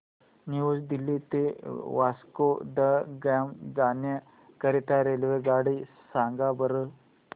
new Delhi ते वास्को द गामा जाण्या करीता रेल्वेगाडी सांगा बरं